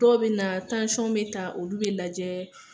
Dɔw be na bɛ ta, olu be lajɛ